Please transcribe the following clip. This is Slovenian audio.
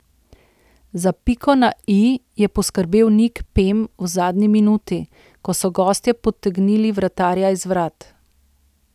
Za piko na i je poskrbel Nik Pem v zadnji minuti, ko so gostje potegnili vratarja iz vrat.